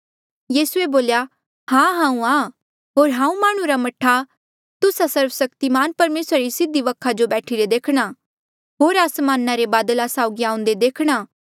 यीसूए बोल्या हां हांऊँ आं होर हांऊँ माह्णुं रा मह्ठा तुस्सा सर्वसक्तिमान परमेसरा री सीधी वखा जो बैठीरे देखणा होर आसमाना रे बादला साउगी आऊंदे देखणा